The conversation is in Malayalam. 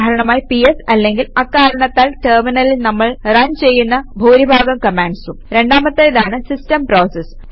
ഉദാഹരണമായി പിഎസ് അല്ലെങ്കിൽ അക്കാരണത്താൽ ടെര്മിനലിൽ നമ്മൾ റൺ ചെയ്യുന്ന ഭൂരിഭാഗം കമാൻഡ്സും രണ്ടാമത്തേതാണ് സിസ്റ്റം പ്രോസസസ്